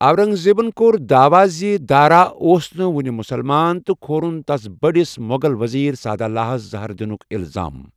اورنگ زیبن كو٘ر دعاوا زِ دارا اوس نہٕ وو٘نہِ مٗسلمان تہٕ كھورٗن تس بڈِس مٗغل وزیر سعادٗلاہس زہر دِنٗك اِلزام ۔